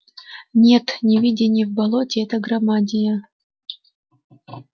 нет не видение в болоте эта громадия